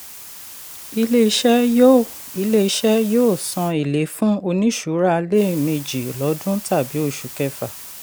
ilé-iṣẹ̀ yóò ilé-iṣẹ̀ yóò san élé fún oníṣura lẹ́ẹ̀mejì lọdún tàbí oṣù kẹfà.